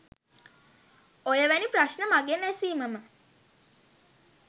ඔය වැනි ප්‍රශ්න මගෙන් ඇසීමම